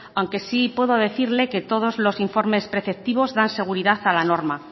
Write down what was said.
aunque sí puedo decirle que todos los informes preceptivos dan seguridad a la norma